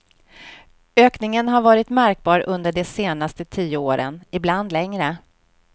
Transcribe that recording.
Ökningen har varit märkbar under de senaste tio åren, ibland längre.